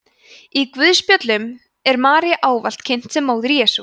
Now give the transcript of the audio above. í guðspjöllunum er maría ávallt kynnt sem móðir jesú